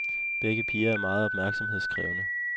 Begge piger er meget opmærksomhedskrævende.